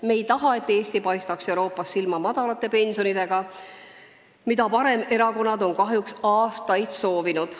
Me ei taha, et Eesti paistaks Euroopas silma väikeste pensionidega, mida paremerakonnad on kahjuks aastaid soovinud.